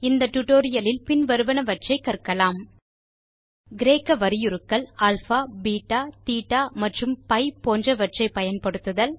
இந்த டியூட்டோரியல் லில் பின் வருவனவற்றை கற்கலாம் கிரேக்க வரியுருக்கள் அல்பா பெட்டா தேட்ட மற்றும் பி போன்றவற்றை பயன்படுத்துதல்